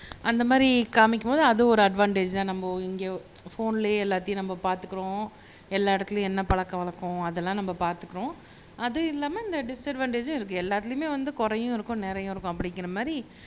அந்த மாதிரி காமிக்கும்போது அதுவும் ஒரு அட்வான்டேஜ்தான் நம்ம இங்க போன்லயே எல்லாத்தையும் நம்ம பார்த்துக்கிறோம் எல்லா இடத்துலயும் என்ன பழக்க வழக்கம் அதெல்லாம் நம்ம பார்த்துக்கிறோம் அது இல்லாம இந்த டிஸ்அட்வான்டேஜும் இருக்கு எல்லாத்துலயுமே வந்து குறையும் இருக்கும் நிறையும் இருக்கும் அப்படிங்கிற மாதிரி